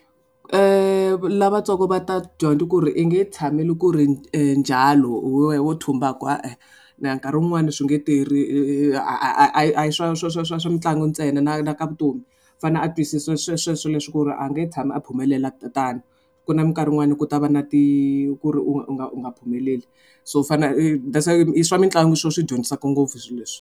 Lavatsongo va ta dyondza ku ri i nge tshameli ku ri njalo loko wo thumbaka e-e. nkarhi wun'wani swi nge tirhi a hi a hi swa swa swa swa swa mitlangu ntsena na na ka vutomi u fanele a twisisa sweswe swo leswi ku ri a nge tshami a phumelela tano ku na minkarhi yin'wani ku ta va na ti ku ri u nga u nga u nga phumeleli so u fanele that's why i swa mitlangu swilo swi dyondzisaka ngopfu swilo leswi.